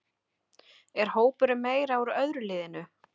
Er hópurinn meira úr öðru liðinu?